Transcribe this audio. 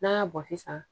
N'a y'a bɔ sisan